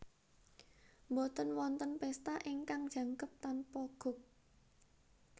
Boten wonten pesta ingkang jangkep tanpa guk